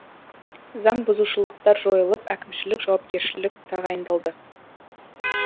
заңбұзушылықтар жойылып әкімшілік жауапкершілік тағайындалды